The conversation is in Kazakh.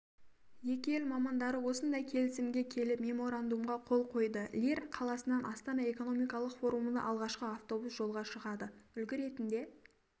екі ел мамандары осындай келісімге келіп меморандумға қол қойды лир қаласынан астана экономикалық форумына алғашқы автобус жолға шығады үлгі ретінде